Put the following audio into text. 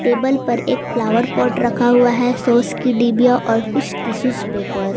Table पर एक flower pot रखा हुआ है सॉस की डिबिया और कुछ टिशूज पेपर।